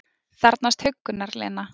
Þarfnast huggunar, Lena.